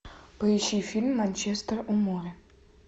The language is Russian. поищи фильм манчестер у моря